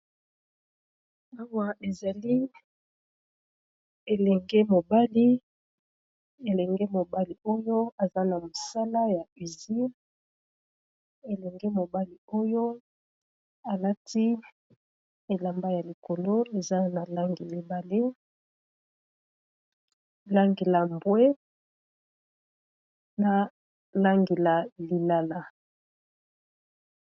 Awa ezali elenge mobali elenge mobali oyo aza na mosala ya usine elenge mobali oyo alati elamba ya likolo eza na langi mibale langi la mbwe na langi la lilala.